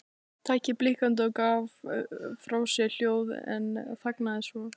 Tækið blikkaði og gaf frá sér hljóð en þagnaði svo.